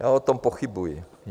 Já o tom pochybuji.